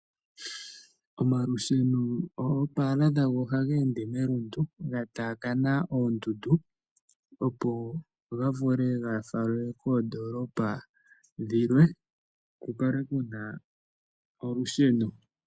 Omalusheno oopaala dhago ohaga ende melundu ga taakana oondundu, opo ga vule ga falwe koondoolopa dhilwe ku kale ku na olusheno.